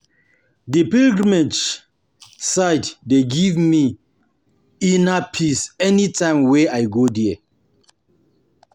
Di pilgrimage um site um dey give me um give me um inner peace anytime wey I go there.